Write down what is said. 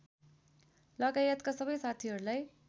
लगायतका सबै साथीहरूलाई